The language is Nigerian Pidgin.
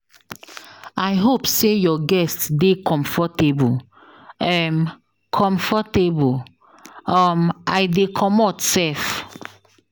I hope say your guest dey comfortable. um comfortable. um I dey comot sef